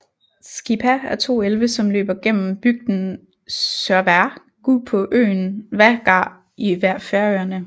Skipá er to elve som løber gennem bygden Sørvágur på øenn Vágar i Færøerne